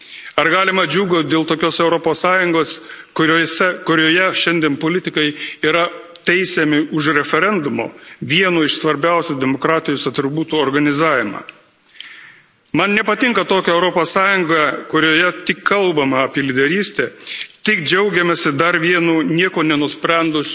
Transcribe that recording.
Ar galima džiūgauti dėl tokios Europos Sąjungos, kurioje šiandien politikai yra teisiami už referendumo, vieno iš svarbiausių demokratijos atributų, organizavimą? Man nepatinka tokia Europos Sąjunga, kurioje tik kalbama apie lyderystę, tik džiaugiamasi dar vienu, nieko nenusprendusiu